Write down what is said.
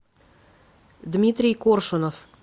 дмитрий коршунов